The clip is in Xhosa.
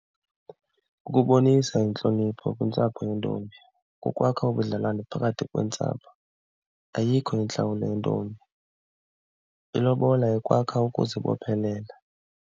Kubonisa intlonipho kwiintsapho yentombi, kukwakha ubudlelwane phakathi kweentsapho. Ayikho intlawulo yentombi, ilobola ikwakha ukuzibophelela.